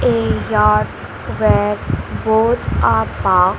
A yacht where boats are parked.